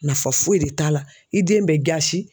Nafa foyi de t'a la, i den bɛ jasi